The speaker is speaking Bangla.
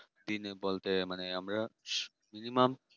দিনে বলতে আমরা minimum